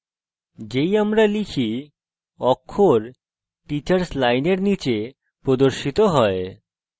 যেই আমরা type অক্ষর teachers লাইনের নীচে প্রদর্শিত হয়েছে